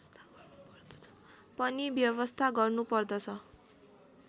पनि व्यवस्था गर्नुपर्दछ